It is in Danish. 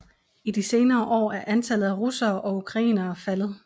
I de senere år er antallet af russere og ukrainere faldet